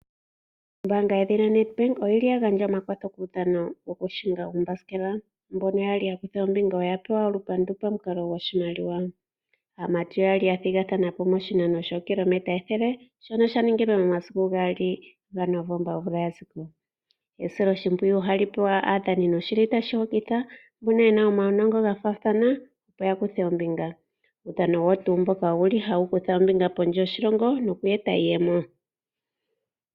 Ombaanga yoNedbank oyili yagandja omakwatho gaahingi yuuthanguthangu. Mboka yali yakutha ombinga oyali yapewa olupandu lwiimaliwa . Aamati oyali yathigathanapo miinano yookilometa ethele. Shika oshaningilwe momasiku gaali gaNovemba omvula yaziko. Esiloshimpwiyu ohali pewa aakuthimbinga shoka shili tashi hokitha. Kuudhano owali wakutha ombinga kondje yoshilongo noshili sheetitha iimaliwa moshilongo .